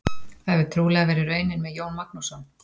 Það hefur trúlega verið raunin með Jón Magnússon.